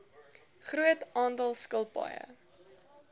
groot aantal skilpaaie